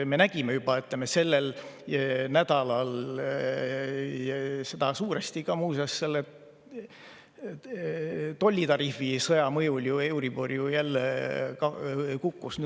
Me nägime juba sellel nädalal, et suuresti muuseas selle tollitariifisõja mõjul euribor ju jälle kukkus.